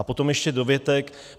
A potom ještě dovětek.